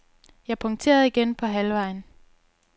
Jeg punkterede igen på halvvejen.